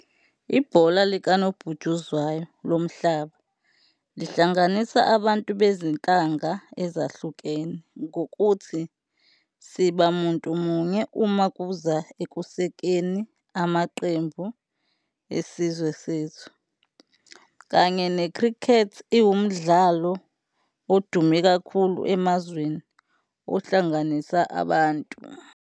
Ibhola likanobhutshuzwayo lomhlaba lihlanganisa abantu bezinhlanga ezahlukene ngokuthi, siba muntu munye uma kuza ekusekeni amaqembu, isizwe sethu kanye ne-cricket iwu mdlalo odume kakhulu emazweni ohlanganisa abantu.